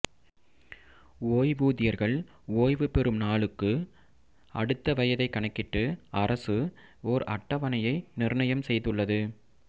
ஓய்வூதியர்கள் ஓய்வு பெறும் நாளுக்கு அடுத்த வயதைக் கணக்கிட்டு அரசு ஓர் அட்டவணையை நிர்ணயம் செய்துள்ளது